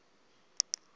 ukuba ukho apha